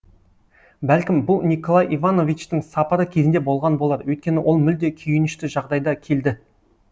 бәлкім бұл николай ивановичтің сапары кезінде болған болар өйткені ол мүлде күйінішті жағдайда келді